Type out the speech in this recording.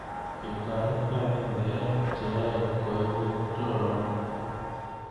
Ketoret ko akenge eng che yoe koibu choronoik.